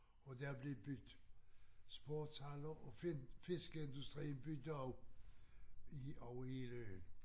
Og der blev bygget sportshaller og fiskeindustrien byggede også i over hele øen